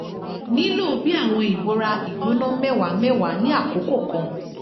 nilo bi awọn ibora igbona mẹwa mẹwa ni akoko kan